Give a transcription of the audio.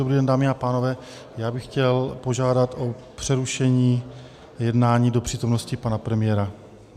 Dobrý den, dámy a pánové, já bych chtěl požádat o přerušení jednání do přítomnosti pana premiéra.